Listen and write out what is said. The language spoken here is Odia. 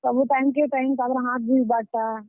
ସବୁ ଟାଇମ୍ କେ ଟାଇମ୍ ,ତାପ୍ ରେ ହାଥ୍ ଧୁଇବାର୍ ଟା।